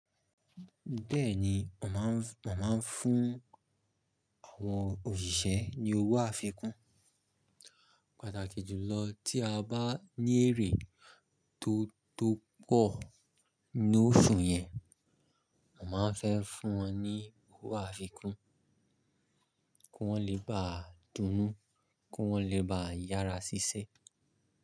Bẹ́ẹ̀ni, mo màá ń, mo màá ń fún àwọn òṣìṣẹ́ ní owó àfikún. Pataki jùlọ tí a bá ní èrè tó, tó pọ̀ ní oṣù yẹn, mo màá n fẹ́ fún wọn ní owó àfikún, kí wọ́n le báa dun-nú, kí wọ́n le baá yára ṣiṣẹ́.